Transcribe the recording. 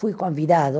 Fui convidado